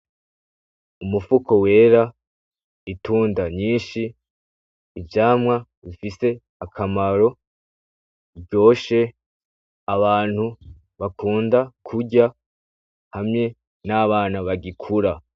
Umufuko wera, itunda nyinshi, ivyamwa bifise akamaro ,biryoshe abantu bakunda kurya hamwe n’abana bagikura.